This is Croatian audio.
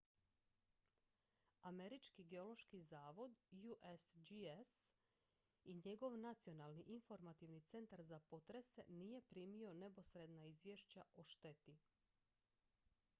američki geološki zavod usgs i njegov nacionalni informativni centar za potrese nije primio neposredna izvješća o šteti